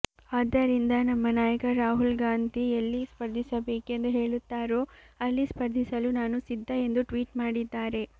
ಆದ್ದರಿಂದ ನಮ್ಮ ನಾಯಕ ರಾಹುಲ್ ಗಾಂಧಿ ಎಲ್ಲಿ ಸ್ಪರ್ಧಿಸಬೇಕೆಂದು ಹೇಳುತ್ತಾರೋ ಅಲ್ಲಿ ಸ್ಪರ್ಧಿಸಲು ನಾನು ಸಿದ್ಧ ಎಂದು ಟ್ವೀಟ್ ಮಾಡಿದ್ದಾರೆ